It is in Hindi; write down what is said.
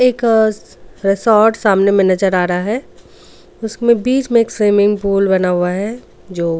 का रिसॉर्ट सामने में नजर आ रहा है उसमें बीच में एक सिमिंग पूल बना हुआ है जो.